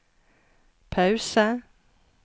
pause